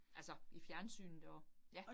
Altså i fjernsynet og ja